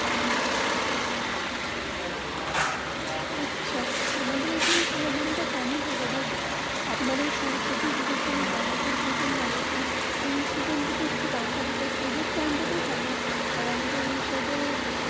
আচ্ছা আমাদের এখানে ফল দাম তা কম হয় থাকে বাট আপনার এই সরস্বতী পুজো তে গেন্ডা ফোলা প্রচুর লাগে তো এই সিজনে তা তে একটু দাম তা থাকে আর আমাদের এই সাইড.